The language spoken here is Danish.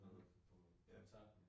Mhm, ja